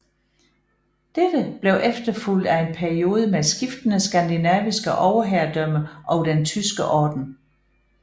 Dette blev efterfulgt af en periode med skiftende skandinaviske overherredømmer og Den tyske Orden